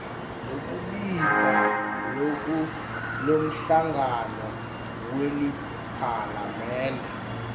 lekubita lomhlangano weliphalamende